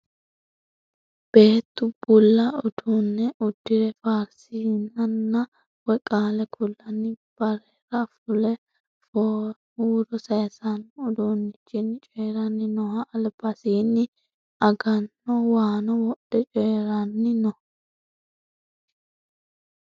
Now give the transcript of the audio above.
Beetu bulla uduunne uddire faarsinanni woy qaale kullanni barera fule huuro saaysanno uduunnichinni coyiranni nooho albasiinni aganno waano wodhe coyiranni no.